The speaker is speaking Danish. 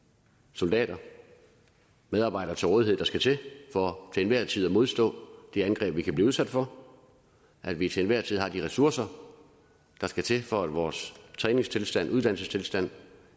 soldater medarbejdere til rådighed der skal til for til enhver tid at modstå de angreb vi kan blive udsat for at vi til enhver tid har de ressourcer der skal til for at vores træningstilstand og uddannelsestilstand